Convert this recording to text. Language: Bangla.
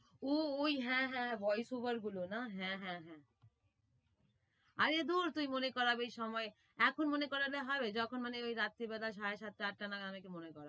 ও ঐ হ্যাঁ হ্যাঁ ball cover গুলো না? হ্যাঁ হ্যাঁ হ্যাঁ। আরে দুর মনে তুই করাবি সময়ে, এখন মনে করালে হবে? যখন মানে ওই রাত্রি বেলা সাড়ে সাতটা আটটা নাগাদ মনে করা